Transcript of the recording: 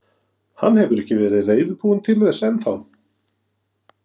Hann hefur ekki verið reiðubúinn til þess enn þá.